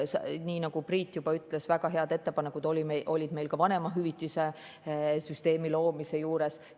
Nii nagu Priit juba ütles, väga head ettepanekud olid meil ka vanemahüvitise süsteemi loomise juures.